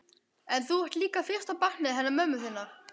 En þú ert líka fyrsta barnið hennar mömmu þinnar.